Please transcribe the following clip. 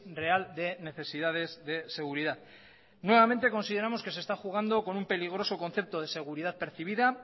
real de necesidades de seguridad nuevamente consideramos que se está jugando con un peligroso concepto de seguridad percibida